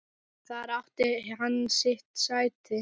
Þar átti hann sitt sæti.